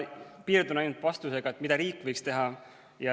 Ma piirdun ainult vastusega sellele, mida riik võiks teha.